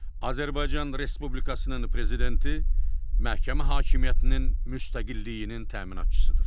Azərbaycan Respublikasının prezidenti məhkəmə hakimiyyətinin müstəqilliyinin təminatçısıdır.